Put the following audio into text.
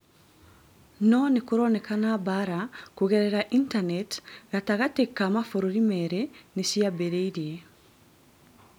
No nĩkũroneka mbara kũgerera intaneti gatagatĩ ka mabũrũri merĩ nĩciambĩrĩrie